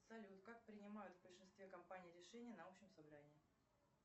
салют как принимают в большинстве компаний решения на общем собрании